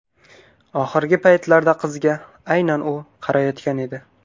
Oxirgi paytlarda qizga aynan u qarayotgan edi.